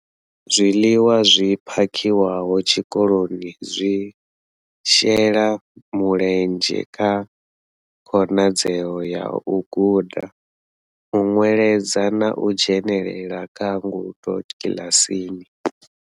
Zwiḽiwa zwi phakhiwaho tshikoloni zwi shela mulenzhe kha khonadzeo ya u guda, u nweledza na u dzhenela kha ngudo kiḽasini.